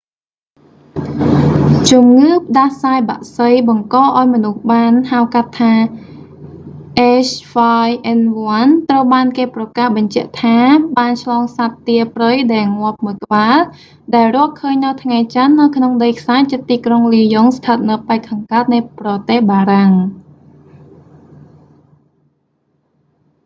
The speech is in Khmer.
ជំងឺ​ផ្ដាសាយ​បក្សី​បង្កឱ្យ​មនុស្សបាន ហៅ​កាត់​ថា h5n1 ត្រូវ​បាន​គេ​ប្រកាស​បញ្ជាក់​ថា​បាន​ឆ្លងសត្វទាព្រៃ​ដែល​ងាប់មួយ​ក្បាល ដែលរកឃើញនៅថ្ងៃច័ន្ទ​នៅក្នុងដីខ្សាច់​ជិតទីក្រុង​លីយ៉ុង​ស្ថិត​នៅប៉ែកខាងកើតនៃប្រទេសបារាំង។